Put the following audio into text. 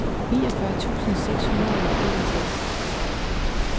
niogfyrre tusind seks hundrede og enogtres